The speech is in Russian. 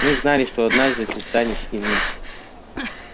мы знали что однажды ты станешь иным